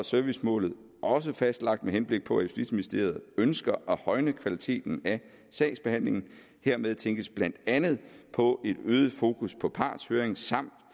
servicemålet også fastlagt med henblik på at justitsministeriet ønsker at højne kvaliteten af sagsbehandlingen hermed tænkes blandt andet på et øget fokus på partshøring samt